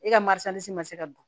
E ka marisi ni si ma se ka don